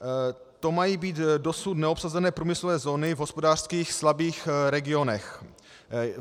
To mají být dosud neobsazené průmyslové zóny v hospodářsky slabých regionech.